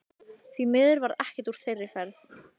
Því miður varð ekkert úr þeirri ferð.